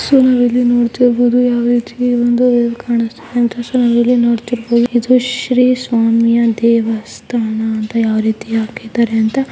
so ನಾವಿಲ್ಲಿ ನೋಡ್ತಿರಬಹುದು ಯಾವ ರೀತಿ ಒಂದು ನಾವಿಲ್ಲಿ ನೋಡ್ತಾಇರಬಹುದು ಇದು ಶ್ರೀ ಸ್ವಾಮಿಯ ದೇವಸ್ಥಾನ ಅಂತ ಯಾವ ರೀತಿ ಹಾಕಿದ್ದಾರೆ ಅಂತ--